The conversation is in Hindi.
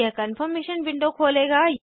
यह कन्फर्मेशन विंडो खोलेगा